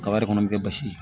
Kaba yɛrɛ kɔnɔ bɛ kɛ basi